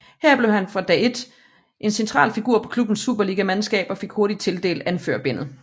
Her blev han fra dag ét en central figur på klubbens superligamandskab og fik hurtigt tildelt anførerbindet